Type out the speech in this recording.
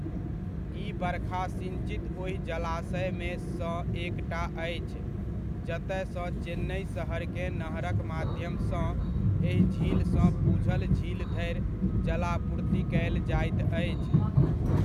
ई बरखा सिञ्चित ओहि जलाशयमे सँ एकटा अछि जतय सँ चेन्नइ शहरकेँ नहरक माध्यमसँ एहि झीलसँ पुझल झील धरि जलापूर्ति कयल जाइत अछि।